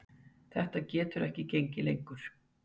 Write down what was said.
Þetta getur ekki gengið lengur.